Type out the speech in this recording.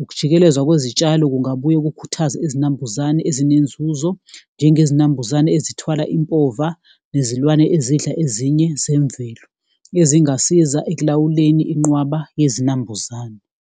ukujikelezwa kwezitshalo kungabuye kukhuthaze izinambuzane ezinenzuzo njengezinambuzane ezithwala impova. Nezilwane ezidla ezinye zemvelo ezingasiza ekulawuleni inqwaba yezinambuzane.